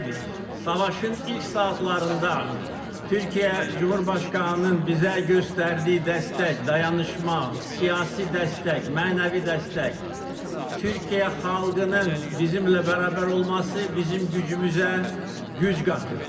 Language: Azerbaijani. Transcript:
savaşın ilk saatlarında Türkiyə Cumhurbaşqanının bizə göstərdiyi dəstək, dayanışma, siyasi dəstək, mənəvi dəstək, Türkiyə xalqının bizimlə bərabər olması bizim gücümüzə güc qatıb.